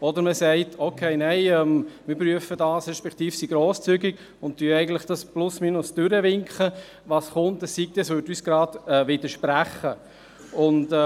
Oder man sagt, man sei grosszügig und winke mehr oder weniger durch, was komme, es sei denn, es würde unseren Ansichten widersprechen.